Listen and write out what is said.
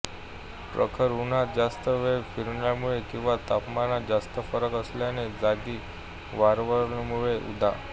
प्रखर उन्हात जास्त वेळ फिरल्यामुळे किंवा तापमानात जास्त फरक असलेल्या जागी वावरल्यामुळे उदा